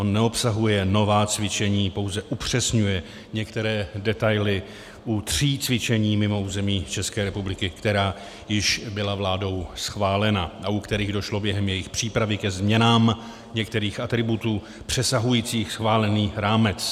On neobsahuje nová cvičení, pouze upřesňuje některé detaily u tří cvičení mimo území České republiky, která již byla vládou schválena a u kterých došlo během jejich přípravy ke změnám některých atributů přesahujících schválený rámec.